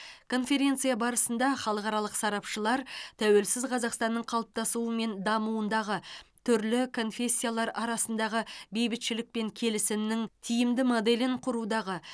конференция барысында халықаралық сарапшылар тәуелсіз қазақстанның қалыптасуы мен дамуындағы түрлі конфессиялар арасындағы бейбітшілік пен келісімнің тиімді моделін құрудағы